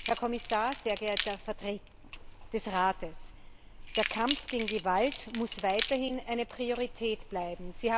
Herr Kommissar, sehr geehrter Vertreter des Rates, der Kampf gegen Gewalt muss weiterhin eine Priorität bleiben.